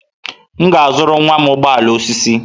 M ga-azụrụ nwa m ụgbọ ala osisi.